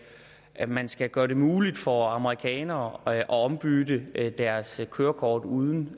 at man skal gøre det muligt for amerikanere at ombytte deres kørekort uden